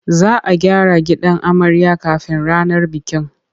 Za a gyara gidan amarya kafin ranar bikin.